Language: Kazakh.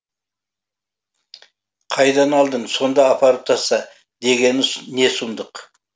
қайдан алдың сонда апарып таста дегені не сұмдық